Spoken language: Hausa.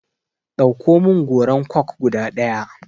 Ɗauko min goran coke guda ɗaya!